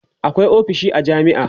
akwai ofisoshi a jami'a